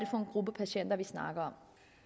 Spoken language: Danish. for en gruppe patienter vi snakker